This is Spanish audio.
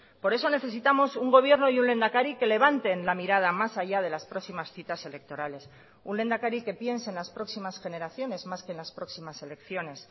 por eso necesitamos un gobierno y un lehendakari que levanten la mirada más allá de las próximas citas electorales un lehendakari que piense en las próximas generaciones más que en las próximas elecciones